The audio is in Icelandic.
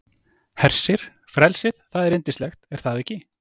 Hersir, frelsið, það er yndislegt er það ekki?